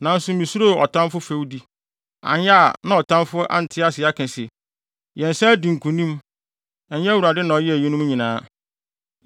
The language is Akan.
Nanso misuroo ɔtamfo fɛwdi, anyɛ a na ɔtamfo ante ase aka se, ‘Yɛn nsa adi nkonim; Ɛnyɛ Awurade na ɔyɛɛ eyinom nyinaa.’ ”